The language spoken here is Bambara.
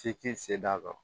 F'i k'i se d'a kɔ